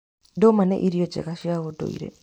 Ndũma nĩ irio njega cia ũndũire.